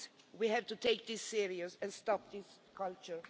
We have to take this seriously and stop this culture.